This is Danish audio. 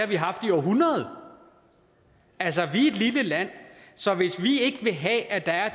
vi haft i århundreder altså vi er et lille land så hvis vi ikke vil have at der er